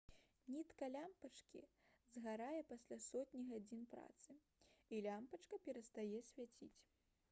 нітка лямпачкі згарае пасля сотні гадзін працы і лямпачка перастае свяціць